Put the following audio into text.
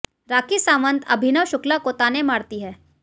राखी सावंत अभिनव शुक्ला को ताने मारती हैं